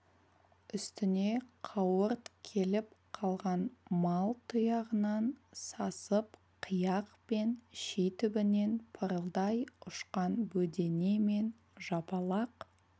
үстіне қауырт келіп қалған мал тұяғынан сасып қияқ пен ши түбінен пырылдай ұшқан бөдене мен жапалақ